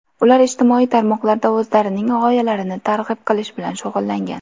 Ular ijtimoiy tarmoqlarda o‘zlarining g‘oyalarini targ‘ib qilish bilan shug‘ullangan.